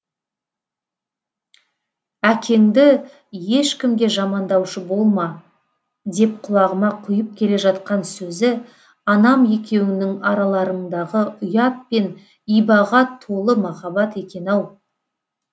әкеңді ешкімге жамандаушы болма деп құлағыма құйып келе жатқан сөзі анам екеуіңнің араларыңдағы ұят пен ибаға толы махаббат екен ау